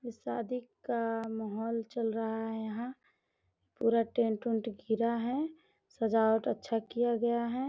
ये शादी का माहौल चल रहा है यहां पूरा टेंट - उन्ट गिरा है सजावट अच्छा किया गया है।